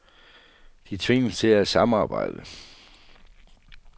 De tvinges til at samarbejde.